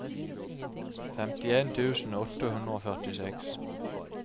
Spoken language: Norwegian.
femtien tusen åtte hundre og førtiseks